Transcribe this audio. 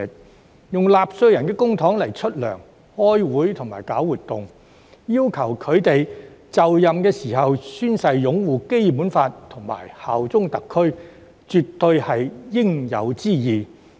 區議員以納稅人的公帑支薪、開會和舉辦活動，所以要求他們在就任時宣誓擁護《基本法》和效忠特區，絕對是應有之義。